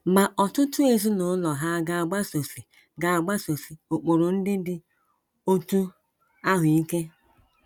Ma ọtụtụ ezinụlọ hà ga - agbasosi ga - agbasosi ụkpụrụ ndị dị otú ahụ ike?